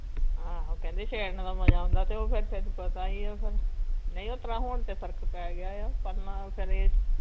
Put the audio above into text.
ਆਹੋ ਕਹਿੰਦੀ ਛੇੜਨ ਦਾ ਮਜਾ ਆਉਂਦਾ ਤੇ ਉਹ ਫੇਰ ਤੈਨੂੰ ਪਤਾ ਈ ਫੇਰ ਨਈ ਓਸਤ੍ਰਾਂ ਹੁਣ ਤੇ ਫਰਕ ਪੈ ਗਯਾ ਆ ਪਰ ਨਾ ਫੇਰ ਇਹ